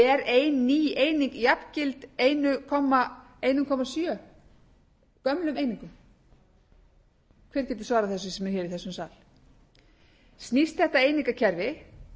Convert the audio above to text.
ein ný eining jafngild einn komma sjö gömlum einingum hver getur svarað þessu sem er í þessum sal snýst þetta einingakerfi